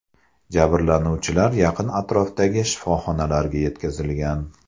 Jabrlanuvchilar yaqin atrofdagi shifoxonalarga yetkazilgan.